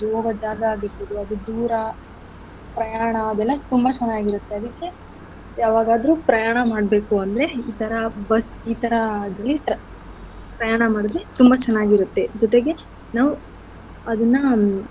ಹೋಗೋ ಜಾಗ ಆಗಿರ್ಬೋದು ಅದು ದೂರ ಪ್ರಯಾಣ ಅದೆಲ್ಲ ತುಂಬಾ ಚೆನ್ನಾಗಿರತ್ತೆ ಅದಕ್ಕೆ ಯಾವಾಗಾದ್ರು ಪ್ರಯಾಣ ಮಾಡ್ಬೇಕು ಅಂದ್ರೆ ಈತರ bus ಈತರ ಪ್ರಯಾಣ ಮಾಡಿದ್ರೆ ತುಂಬಾ ಚೆನ್ನಾಗಿರತ್ತೆ ಜೊತೆಗೆ ನಾವ್ ಅದನ್ನ.